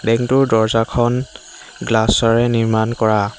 Bank টোৰ দৰ্জাখন glass ৰে নিৰ্মাণ কৰা।